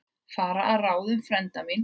Fara að ráðum frænda míns.